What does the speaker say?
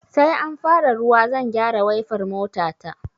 Sai an fara ruwa zan gyara waifar mota ta